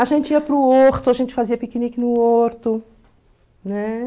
A gente ia para o horto, a gente fazia piquenique no horto, né?